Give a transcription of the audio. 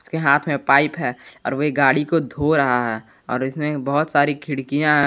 उसके हाथ में पाइप है और वह गाड़ी को धो रहा है और इसमें बहुत सारी खिड़कियां--